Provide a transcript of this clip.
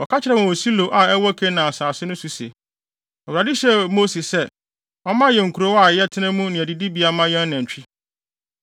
Wɔka kyerɛɛ wɔn wɔ Silo a ɛwɔ Kanaan asase so no se, “ Awurade hyɛɛ Mose sɛ, ɔmma yɛn nkurow na yɛntena mu ne adidibea mma yɛn anantwi.”